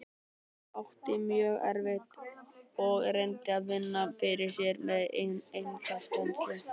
Hún átti mjög erfitt og reyndi að vinna fyrir sér með einkakennslu.